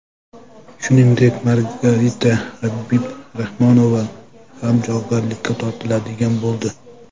Shuningdek, Margarita Habibrahmanova ham javobgarlikka tortiladigan bo‘ldi.